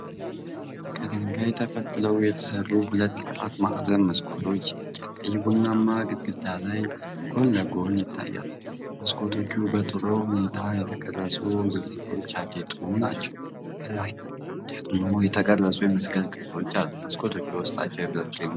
ከድንጋይ ተፈልፍለው የተሰሩ ሁለት አራት ማዕዘን መስኮቶች ከቀይ ቡናማ ግድግዳ ላይ ጎን ለጎን ይታያሉ። መስኮቶቹ በጥሩ ሁኔታ በተቀረጹ ዝርዝሮች ያጌጡ ናቸው፣ ከላይ ደግሞ የተቀረጹ የመስቀል ቅርጾች አሉ። መስኮቶቹ በውስጣቸው የብረት ፍሬሞች አላቸው።